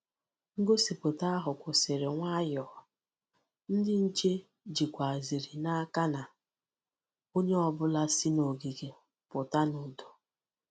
Ngosipụta ahụ kwụsịrị nwayọọ, ndị nche jikwazịrị n'aka na onye ọ bụla si n’ogige pụta n’udo.